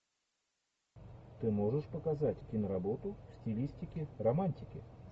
ты можешь показать киноработу в стилистике романтики